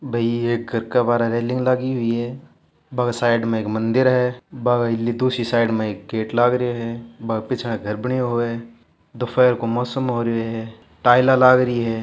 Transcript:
भई एक घर के बाहरे रेलिंग लागी हुई है बांके साइड मे एक मंदिर है भ अ ई दूसरी साइड मे एक गेट लाग रहियो है बा पिछन एक घर बण्यो होवे दोपहर को मौसम हो रहियो है टाईला लाग रही है।